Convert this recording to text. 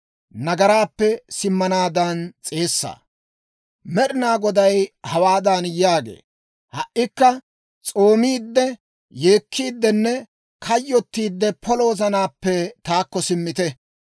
Med'inaa Goday hawaadan yaagee; «Ha"ikka s'oomiidde, yeekkiiddinne kayyottiidde polo wozanaappe taakko simmite.